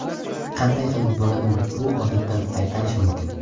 Qanday qilib bolani bu odatdan qaytarish mumkin?